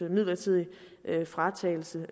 midlertidig fratagelse